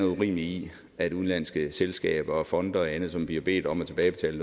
urimelige i at udenlandske selskaber fonde og andet som bliver bedt om at tilbagebetale